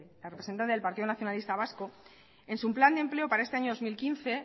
la representante del partido nacionalista vasco en su plan de empleo para este año dos mil quince